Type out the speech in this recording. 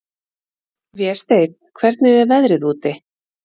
Vésteinn, hvernig er veðrið úti?